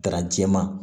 Garan jɛman